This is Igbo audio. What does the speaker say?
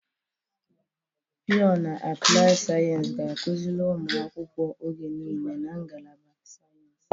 Pịọ na apụlaịdị sayensị ga-akụziri ụmụ akwụkwọ oge niile na ngalaba sayensị.